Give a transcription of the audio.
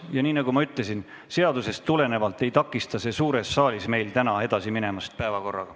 Ja nagu ma ütlesin – seadusest tulenevalt ei takista see meil suures saalis päevakorraga edasi minemast.